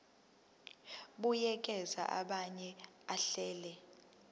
buyekeza abuye ahlele